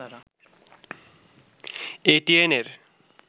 এটিএন-এর